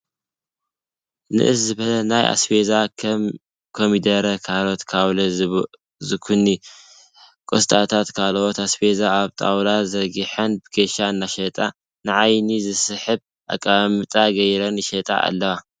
ንእስ ዝበለ ናይ ኣስቤዛ ከም ኮሚደረ ፣ካሮት፣ ካውሎ፣ ዝኩኒ፣ ቆስጣን ካልኦት ኣስቤዛ ኣብ ጣውላ ዘርጊሐን ብክሻ እናሸጣ ንዓይኒ ዝስሕብ ኣቀማምጣ ገይረን ይሸጣ ኣለዋ።